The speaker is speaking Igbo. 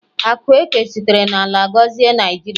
Akụ eke sitere n'ala gọzie Naijiria